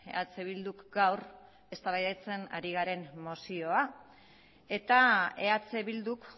eh bilduk gaur eztabaidatzen ari garen mozioa eta eh bilduk